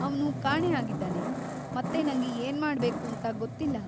ಅವ್ನು ಕಾಣೆ ಆಗಿದ್ದಾನೆ ಮತ್ತೆ ನಂಗೆ ಏನ್ಮಾಡ್ಬೇಕೂಂತ ಗೊತ್ತಿಲ್ಲ.